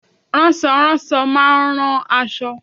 Ránsoránso má a nrán aṣọ